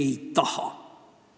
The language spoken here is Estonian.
Me ei taha!